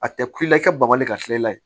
A tɛ ku i la i ka bali ka fiyɛ i la